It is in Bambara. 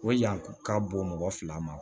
O yan ka bon mɔgɔ fila ma